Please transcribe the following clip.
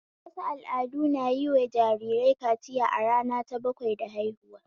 Wasu al'adu na yin wa jariri kaciya a rana ta bakwai da haihuwa